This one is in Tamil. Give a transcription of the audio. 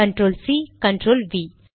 control C control we